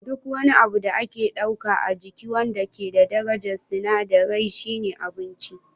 Duk wani abu da aka ɗauka a jiki wanda ke da darajar sinadirai shine abinci